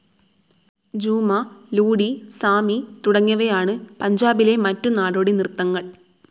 ജൂമാ, ലൂഡി, സാമി തുടങ്ങിയവയാണ് പഞ്ചാബിലെ മറ്റു നാടോടിനിർത്തങ്ങൾ